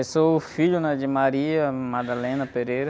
Eu sou o filho, né? De.